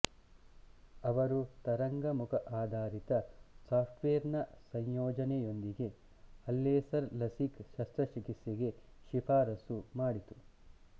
ಅವರು ತರಂಗಮುಖಆಧಾರಿತ software ನ ಸಂಯೋಜನೆಯೊಂದಿಗೆ ಆಲ್ಲೇಸರ್ ಲಸಿಕ್ ಶಸ್ತ್ರಚಿಕಿತ್ಸೆಗೆ ಶಿಫಾರಸು ಮಾಡಿತು